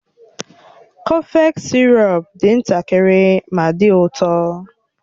Kọfex sirop dị ntakịrị ma dị ụtọ